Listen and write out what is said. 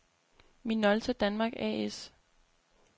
Minolta Danmark A/S